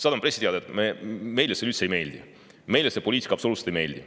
Saadame pressiteate, et meile see üldse ei meeldi, meile see poliitika absoluutselt ei meeldi.